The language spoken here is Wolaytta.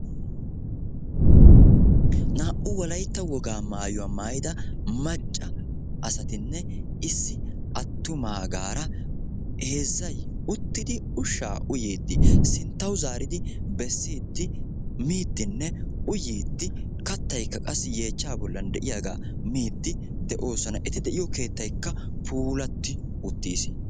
naa'u wolayitta wogaa maayuwa maayida macca asatinne issi attumaagaara heezzay uttidi ushshaa uyyiiddi ha sinttaw zaaridi bessiiddi miiddinne uyyiiddi kattayikka qassi yeechchaa bollan de'iyaagaa miiddi de'oosona. eti de'iyoo keettayikka puulatti uttiisi.